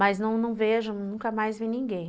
Mas não vejo, nunca mais vi ninguém.